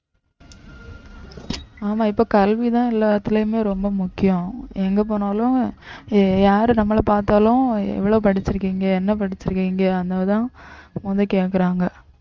ஆமா இப்ப கல்விதான் எல்லாத்துலயுமே ரொம்ப முக்கியம் எங்க போனாலும் யாரு நம்மளை பார்த்தாலும் எவ்வளவு படிச்சிருக்கீங்க என்ன படிச்சிருக்கீங்க மொத கேட்கிறாங்க